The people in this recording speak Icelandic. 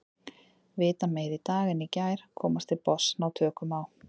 Vita meira í dag en í gær, komast til botns, ná tökum á.